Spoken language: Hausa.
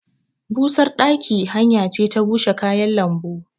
Busar ɗaki hanya ce ta bushe kayan lambu.